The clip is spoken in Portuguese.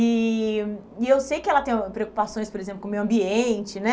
E e eu sei que ela tem preocupações, por exemplo, com o meio ambiente, né?